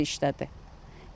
Hamısı işdədir.